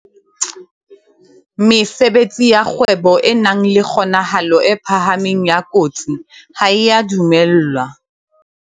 Mesebetsi ya kgwebo e nang le kgonahalo e phahameng ya kotsi ha e a dumellwa